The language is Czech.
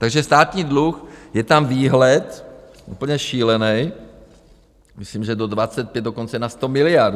Takže státní dluh, je tam výhled úplně šílený, myslím, že do 2025 dokonce na 100 miliard.